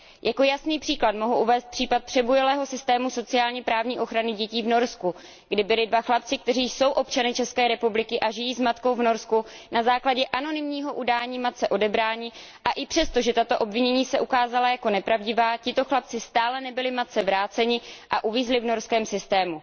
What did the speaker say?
Jako jasný příklad mohu uvést případ přebujelého systému sociálněprávní ochrany dětí v Norsku, kdy byli dva chlapci, kteří jsou občany České republiky a žijí s matkou v Norsku, na základě anonymního udání matce odebráni, a i přesto, že tato obvinění se ukázala jako nepravdivá, tito chlapci stále nebyli matce vráceni a uvízli v norském systému.